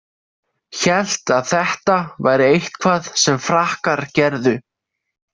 Hélt að þetta væri eitthvað sem Frakkar gerðu.